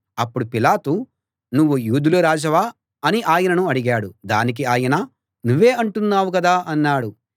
అప్పుడు పిలాతు నువ్వు యూదుల రాజువా అని ఆయనను అడిగాడు దానికి ఆయన నువ్వే అంటున్నావు కదా అన్నాడు